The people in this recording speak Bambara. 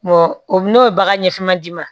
o n'o ye bagan ɲɛfama d'i ma